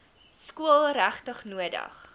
skool regtig nodig